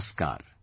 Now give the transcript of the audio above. Namaskar